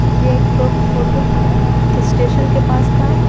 ये एक फोटो है स्टेशन के पास का --